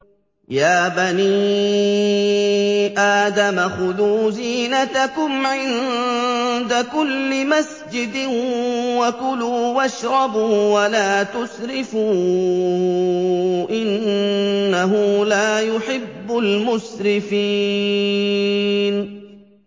۞ يَا بَنِي آدَمَ خُذُوا زِينَتَكُمْ عِندَ كُلِّ مَسْجِدٍ وَكُلُوا وَاشْرَبُوا وَلَا تُسْرِفُوا ۚ إِنَّهُ لَا يُحِبُّ الْمُسْرِفِينَ